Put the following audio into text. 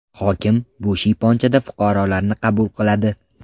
Hokim bu shiyponchada fuqarolarni qabul qiladi.